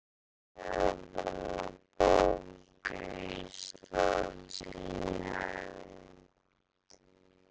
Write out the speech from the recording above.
Svar Seðlabanka Íslands í heild